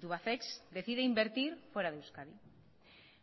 tubacex decide invertir fuera de euskadi